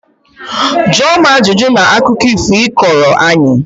Jụọ m ajụjụ na akụkọ ifo ị kọrọ anyị!